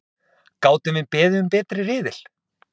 Gátum við beðið um betri riðil?!